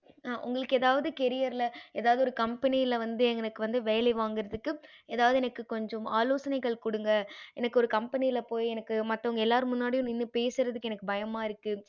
உங்களுக்கு எதாவது career எதாவது ஒரு company எனக்கு வந்து வேலை வாங்குறதுக்கு எதாவது எனக்கு கொஞ்சம் ஆலோசனைகள் குடுங்க எனக்கு ஒரு company போய் எனக்கு மத்தவங்க எல்லாரு முன்னாடியும் பேசறதுக்கு எனக்கு பயமா இருக்கு